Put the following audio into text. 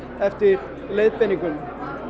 eftir leiðbeiningum